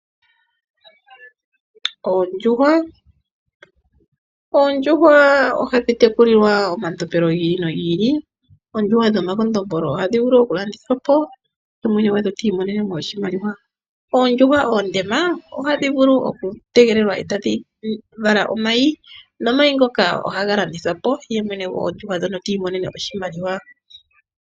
Oondjuhwa, oondjuhwa oha dhi teku lilwa oma tompelo gili nogi ili oondjuhwa dhomakondombolo ohadhi vulu oku landitha po ndee mwene goondjuhwa ta imonene oshimaliwa oondjuhwa dhoondema oha dhi vulu oku tegelelwa nde tadhi vala omayi ohaga vuku oku landitha po ndee mwene ta imonene oshimaliwa.